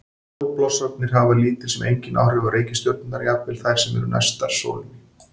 Sólblossarnir hafa lítil sem engin áhrif á reikistjörnurnar, jafnvel þær sem næstar sólinni eru.